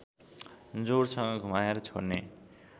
जोडसँग घुमाएर छोड्ने